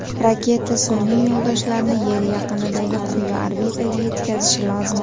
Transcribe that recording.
Raketa sun’iy yo‘ldoshlarni Yer yaqinidagi quyi orbitaga yetkazishi lozim.